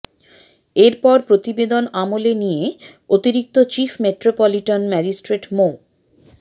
এরপর প্রতিবেদন আমলে নিয়ে অতিরিক্ত চিফ মেট্রোপলিটন ম্যাজিস্ট্রেট মো